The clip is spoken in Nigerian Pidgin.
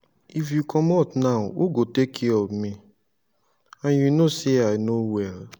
if you comot now who go take care of me? and you know say i no well